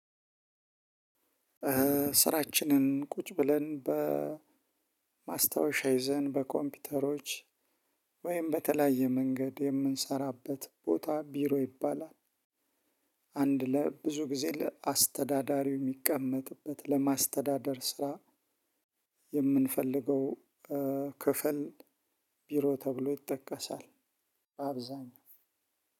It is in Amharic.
ስራችንን ቁጭ ብለን በማስታወሻ ይዘን በኮምፒውተሮች ወይም በተለያየ መንገድ የምንሰራበት ቦታ ቢሮ ይባላል። አንድ ለብዙ ጊዜ ለአስተዳዳሪው የሚቀመጥበት ለማስተዳደር ስራ የምንፈልገው፣ ክፍል ብሮ ተብሎ ይጠቀሳል አብዛኛው።